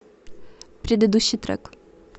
предыдущий трек